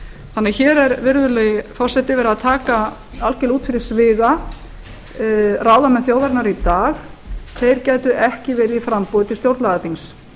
þannig að hér er virðulegi forseti verið að taka algerlega út fyrir sviga ráðamenn þjóðarinnar í dag þeir gætu ekki verið í framboði til stjórnlagaþings